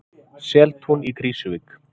Seltún í Krýsuvík.